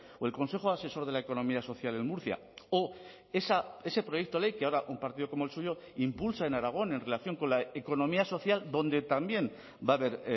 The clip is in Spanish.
o el consejo asesor de la economía social en murcia o ese proyecto de ley que ahora un partido como el suyo impulsa en aragón en relación con la economía social donde también va a haber